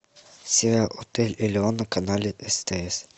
сериал отель элеон на канале стс